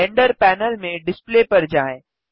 render panel में display पर जाएँ